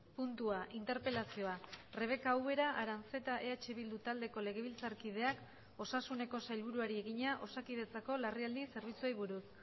puntua interpelazioa rebeka ubera aranzeta eh bildu taldeko legebiltzarkideak osasuneko sailburuari egina osakidetzako larrialdi zerbitzuei buruz